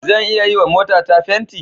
Zan iya yiwa motata fenti?